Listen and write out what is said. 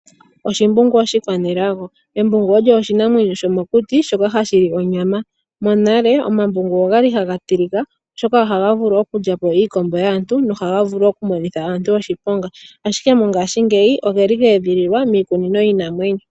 Oshimbungu oshikwaNelago, embungu olyo oshinamwenyo shoka shomokuti shoka hashi li onyama. Monale omambungu okwali haga tilika oshoka oha ha vulu okulya iikombo yaantu no haga vulu okumonitha aantu oshiponga, ihe mongaashingeyi ogeli ge edhililwa miikunino yiinamwenyo.